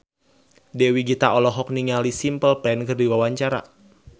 Dewi Gita olohok ningali Simple Plan keur diwawancara